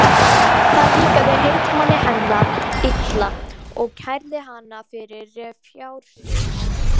Það líkaði heitmanni hennar illa og kærði hana fyrir fjársvik.